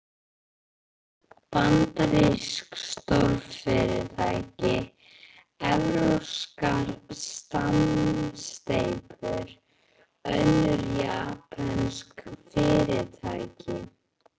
Bandarísk stórfyrirtæki, evrópskar samsteypur, önnur japönsk fyrirtæki.